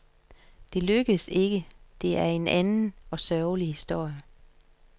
Det lykkedes ikke, det er en anden og sørgelig historie.